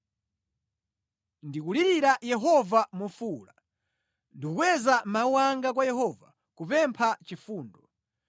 Ndikulirira Yehova mofuwula; ndikukweza mawu anga kwa Yehova kupempha chifundo.